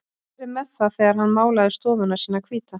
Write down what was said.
Hann hafði verið með það þegar hann málaði stofuna sína hvíta.